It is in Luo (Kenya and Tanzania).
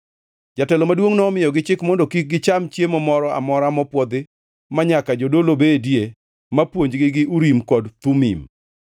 Jatelo maduongʼ nomiyogi chik mondo kik gicham chiemo moro amora mopwodhi manyaka jadolo bedie ma puonjogi gi Urim kod Thumim.